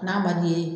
N'a man d'i ye